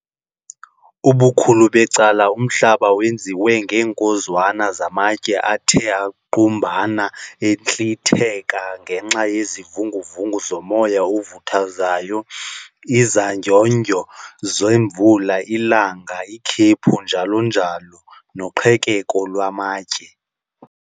Ubukhulu becala umhlaba wenziwe ngeenkozwana zamatye athe angqubana entlitheka ngenxa yezivungu-vungu zomoya ovuthuzayo, izandyondyo zemvula, ilanga, ikhephu, njalo-njalo, noqhekeko lwamatye.